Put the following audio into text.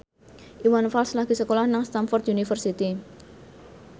Iwan Fals lagi sekolah nang Stamford University